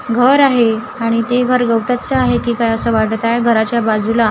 घर आहे आणि ते घर गवताचं आहे की काय असं वाटत आहे गवताच्या बाजूला छा--